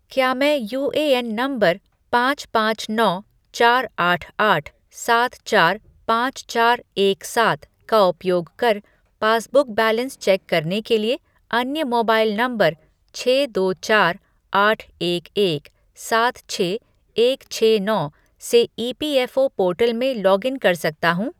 क्या मैं UAN number पाँच पाँच नौ चार आठ आठ सात चार पाँच चार एक सात का उपयोग कर पासबुक बैलेंस चेक करने के लिए अन्य मोबाइल नंबर छः दो चार आठ एक एक सात छः एक छः नौ से ईपीएफ़ओ पोर्टल में लॉग इन कर सकता हूँ?